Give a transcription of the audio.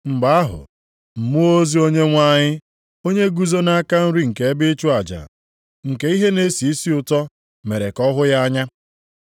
Mgbe ahụ, mmụọ ozi Onyenwe anyị, onye guzo nʼaka nri nke ebe ịchụ aja nke ihe na-esi isi ụtọ mere ka ọ hụ ya anya.